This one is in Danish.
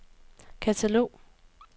katalog